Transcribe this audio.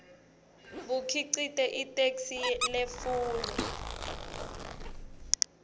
bukhicite itheksthi letfulwe